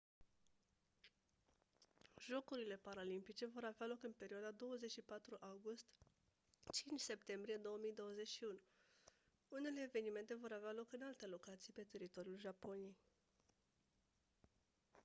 jocurile paralimpice vor avea loc în perioada 24 august - 5 septembrie 2021 unele evenimente vor avea loc în alte locații pe teritoriul japoniei